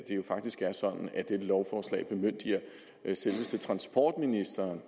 jo faktisk er sådan at dette lovforslag bemyndiger selveste transportministeren